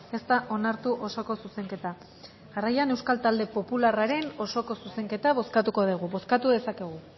ez da onartu osoko zuzenketa jarraian euskal talde popularraren osoko zuzenketa bozkatuko dugu bozkatu dezakegu